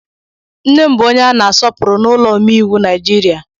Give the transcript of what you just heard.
Nne m bụ onye a na-asọpụrụ n'ụlọ omeiwu Naijiria.